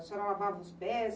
A senhora lavava os pés?